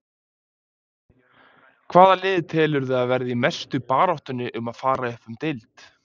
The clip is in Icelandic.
Hvaða lið telurðu að verði í mestu baráttunni um að fara upp um deild?